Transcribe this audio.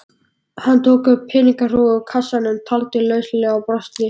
Hann tók peningahrúgu úr kassanum, taldi lauslega og brosti.